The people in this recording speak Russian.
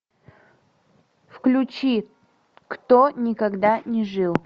включи кто никогда не жил